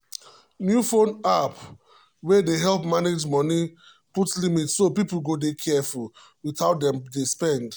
new phone app wey dey help manage money put limit so people go dey careful with how dem dey spend.